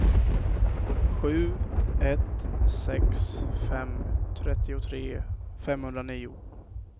sju ett sex fem trettiotre femhundranio